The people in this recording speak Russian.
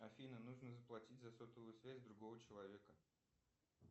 афина нужно заплатить за сотовую связь другого человека